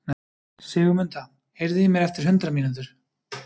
Sigurmunda, heyrðu í mér eftir hundrað mínútur.